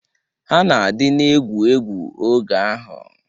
Ha na-adịna egwu egwu oge ahụ.